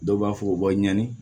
Dɔw b'a fɔ u bɛ ɲani